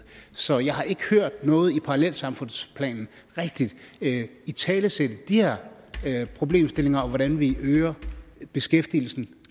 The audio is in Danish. så jeg har ikke hørt noget i parallelsamfundsplanen rigtigt italesætte de her problemstillinger og hvordan vi øger beskæftigelsen